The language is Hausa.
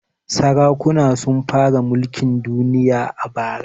Sarakuna sun fara mulkin danniya bara.